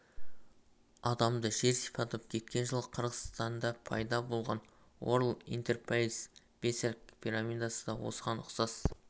адамды жер сипатып кеткен жылы қырғызстанда пайда болған уорлд интерпрайз бисер пирамидасы да осыған ұқсас